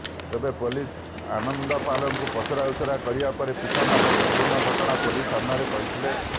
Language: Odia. ତେବେ ପୋଲିସ ଆନନ୍ଦପାଲଙ୍କୁ ପଚରାଉଚରା କରିବା ପରେ ପିତା ମାତା ସମ୍ପୁର୍ଣ୍ଣ ଘଟଣା ପୋଲିସ ସମ୍ନାରେ କହିଥିଲେ